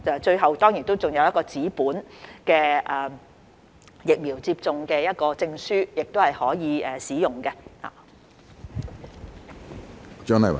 最後，當然還有一張紙本的疫苗接種證書可供使用。